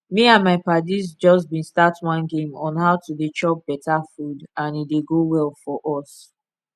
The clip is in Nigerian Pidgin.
me and my padis just been start one game on how to dey chop better food and e dey go well for us